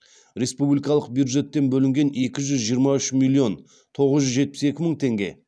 республикалық бюджеттен бөлінген екі жүз жиырма үш миллион тоғыз жүз жетпіс екі мың теңге